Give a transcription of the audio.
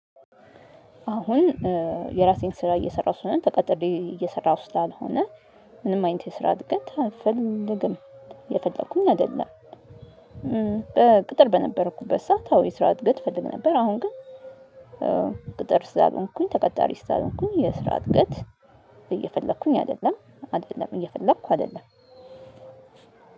አሁን የራሴን ስራ እየሰራሁ ስለሆነ ተቀጥሬ እየሰራሁ ስላልሆነ ምንም አይነት የስራ አድገት ፍልም እየፈለኩኝ አይደለም። በቅጥር በነበርኩበት ሰዓት አዎ የስራ እድገት እፈልግ ነበር አሁን ግን። ቅጥር ስላልሆንኩኝ ተቀጣሪ ስላልሆንኩኝ የስራ እድገት አይደለም። አይደለም እየፈለኩ አይደለም።